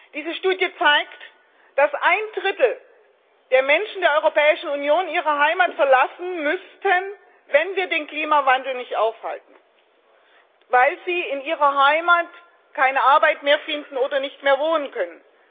Diese Studie zeigt, dass ein Drittel der Menschen der Europäischen Union ihre Heimat verlassen müssten, wenn wir den Klimawandel nicht aufhalten, weil sie in ihrer Heimat keine Arbeit mehr finden oder nicht mehr wohnen können.